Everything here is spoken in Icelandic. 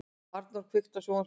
Arnþór, kveiktu á sjónvarpinu.